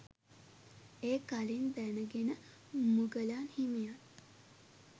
එය කලින් දැනගෙන මුගලන් හිමියන්